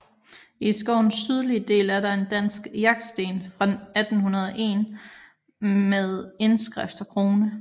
I skovens sydlige del er der en dansk jagtsten fra 1801 med indskrift og krone